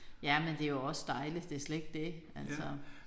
Jamen det jo også dejligt det slet ikke det altså